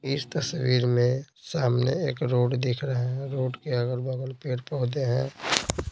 इस तस्वीर में सामने एक रोड दिख रहे हैं रोड के अगल-बगल पेड़ पौधे हैं।